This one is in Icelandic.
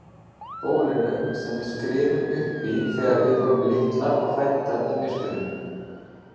Bólinu sem við skriðum uppí þegar við vorum litlar og hræddar í myrkrinu.